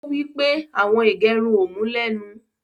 Ọ̀ wí pé awọn ìgẹ̀rùn ọ mú lénu.